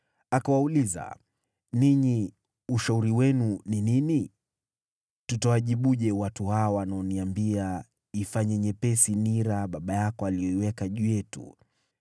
Akawauliza, “Ninyi ushauri wenu ni nini? Tutawajibuje watu hawa wanaoniambia, ‘Ifanye nyepesi nira baba yako aliyoweka juu yetu?’ ”